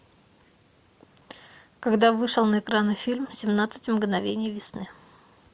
когда вышел на экраны фильм семнадцать мгновений весны